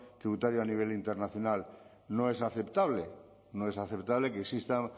tributario a nivel internacional no es aceptable no es aceptable que existan